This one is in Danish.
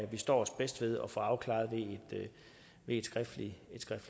vi står os bedst ved at få afklaret ved et skriftligt